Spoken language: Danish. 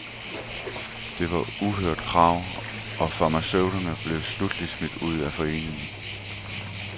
Det var uhørte krav, og farmaceuterne blev sluttelig smidt ud af foreningen.